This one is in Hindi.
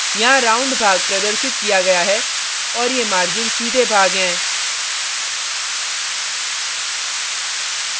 यहाँ round भाग प्रदर्शित किया गया है और ये margins सीधे भाग हैं